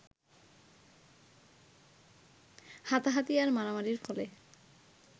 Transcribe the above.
হাতাহাতি আর মারামারির ফলে